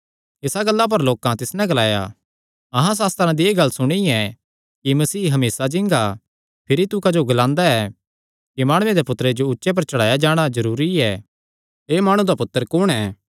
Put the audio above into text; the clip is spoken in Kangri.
इसा गल्ला पर लोकां तिस नैं ग्लाया अहां सास्त्रां दी एह़ गल्ल सुणी ऐ कि मसीह हमेसा जींगा भिरी तू क्जो ग्लांदा ऐ कि माणुये दे पुत्तरे जो ऊंचे पर चढ़ाया जाणा जरूरी ऐ एह़ माणु दा पुत्तर कुण ऐ